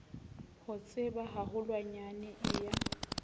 ho tseba haholwanyane e ya